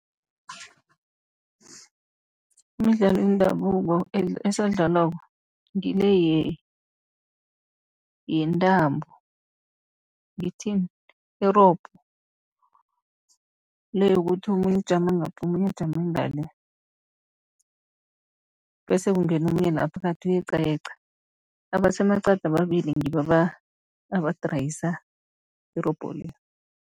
Imidlalo yendabuko esadlalwako ngile yentambo, ngithini irobho. Le yokuthi omunye ujama ngapha omunye ajame ngale, bese kungena omunye la phakathi uyeqayeqa, abasemaqadi ababili ngibo abadrayisa irobho le.